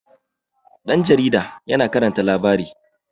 ɗan jaarida yana karanta labari